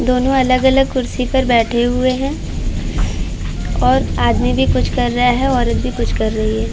दोनों अलग-अलग कुर्सी पर बैठे हुए हैं और आदमी भी कुछ कर रहा है। औरत भी कुछ कर रही है।